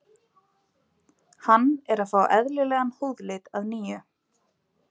Hann er að fá eðlilegan húðlit að nýju.